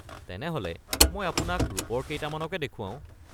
তেনেহ’লে মই আপোনাক ৰূপৰ কেইটামানকে দেখুৱাও।